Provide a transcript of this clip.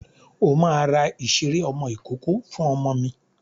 O máa ra ìṣeré ọmọ ìkókó fún ọmọ mi.